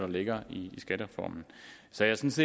ligger i skattereformen så jeg synes